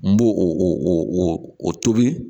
N b'o o o tobi